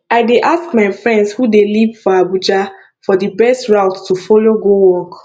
i dey ask my friends who dey live for abuja for di best route to folow go work